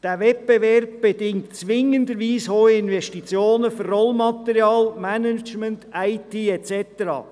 Dieser Wettbewerb bedingt zwingenderweise hohe Investitionen für Rollmaterial, Management, IT et cetera.